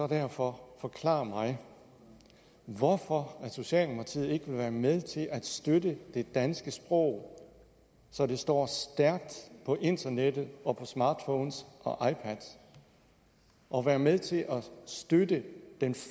derfor forklare mig hvorfor socialdemokratiet ikke vil være med til at støtte det danske sprog så det står stærkt på internettet og på smartphones og ipads og være med til støtte den